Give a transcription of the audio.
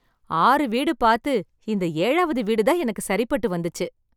ஆறு வீடு பார்த்து, இந்த ஏழாவது வீடு தான் எனக்கு சரிப்பட்டு வந்துச்சு